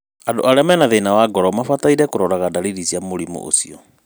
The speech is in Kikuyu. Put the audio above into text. Andu arĩa mena thĩna wa ngoro mabataire kũroraga dariri cia mũrimũ ũcio